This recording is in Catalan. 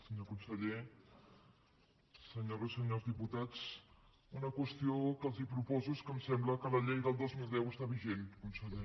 senyor conseller senyores i senyors diputats una qüestió que els proposo és que em sembla que la llei del dos mil deu està vigent conseller